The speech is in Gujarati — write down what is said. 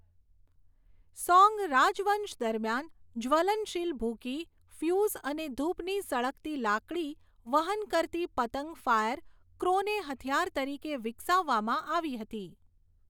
સોંગ રાજવંશ દરમિયાન, જ્વલનશીલ ભૂકી, ફ્યુઝ અને ધૂપની સળગતી લાકડી વહન કરતી પતંગ ફાયર ક્રોને હથિયાર તરીકે વિકસાવવામાં આવી હતી.